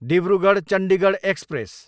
Dibrugarh, Chandigarh express